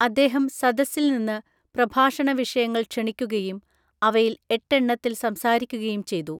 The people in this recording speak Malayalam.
അദ്ദേഹം സദസ്സിൽ നിന്ന് പ്രഭാഷണ വിഷയങ്ങൾ ക്ഷണിക്കുകയും അവയിൽ എട്ടെണ്ണത്തിൽ സംസാരിക്കുകയും ചെയ്തു.